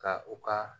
Ka u ka